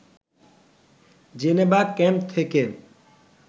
Geneva camp থেকে